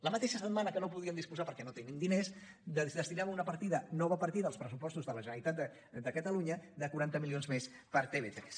la mateixa setmana que no en podíem disposar perquè no tenim diners destinem una partida nova partida als pressupostos de la generalitat de catalunya de quaranta milions més per a tv3